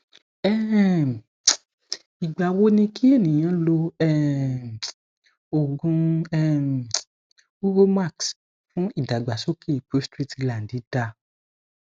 um igba wo ni ki eniyan lo um ogun um uromax fun idagbasoke prostrate gland da